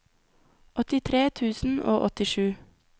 åttitre tusen og åttisju